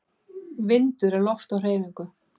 Vindur er loft á hreyfingu.